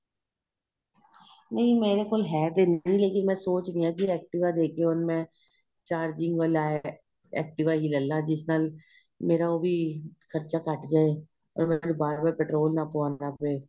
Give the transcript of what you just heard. ਨਹੀਂ ਮੇਰੇ ਕੋਲ ਹੈ ਤੇ ਨਹੀਂ ਲੇਕਿਨ ਮੈਂ ਸੋਚ ਰਹੀ ਹਾਂ ਕਿ activa ਦੇਕੇ ਹੁਣ ਮੈਂ charging ਵਾਲਾ activa ਹੀ ਲੇਲਾ ਜਿਸ ਨਾਲ ਮੇਰਾ ਉਹ ਵੀ ਖਰਚਾ ਘੱਟ ਜ਼ੇ ਔਰ ਮੈਂ ਬਾਰ ਬਾਰ petrol ਨਾ ਪੁਆਣਾ ਪਏ